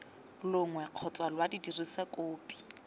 longwe kgotsa lwa dirisa kopi